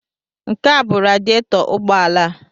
Nke a bụ radietọ ụgbọala a.